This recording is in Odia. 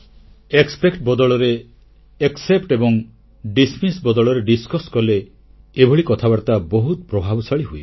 ଆଶା ବଦଳରେ ଗ୍ରହଣୀୟତା ଏବଂ ଅଗ୍ରାହ୍ୟ ବଦଳରେ ଆଲୋଚନା କଲେ ଏଭଳି କଥାବାର୍ତ୍ତା ବହୁତ ପ୍ରଭାବଶାଳୀ ହୁଏ